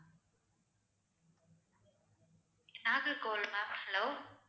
Nagercoil ma'am hello